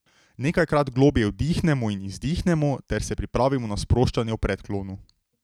Nekajkrat globlje vdihnemo in izdihnemo ter se pripravimo na sproščanje v predklonu.